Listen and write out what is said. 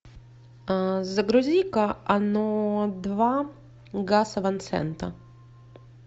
загрузи ка оно два гаса ван сента